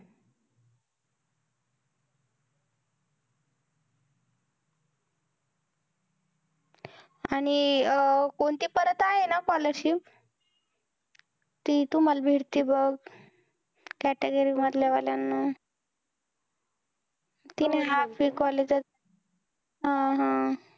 आणि कोणती परत आहे ना scholarship ती तुम्हाला भेटते बघ, category मधल्या वाल्याना हा हा